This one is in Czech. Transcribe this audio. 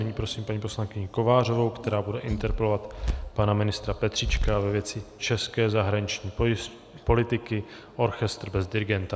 Nyní prosím paní poslankyni Kovářovou, která bude interpelovat pana ministra Petříčka ve věci české zahraniční politiky: orchestr bez dirigenta?